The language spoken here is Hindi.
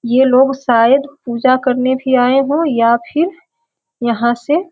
ये लोग शायद पूजा करने भी आए हो या फिर यहाँ से --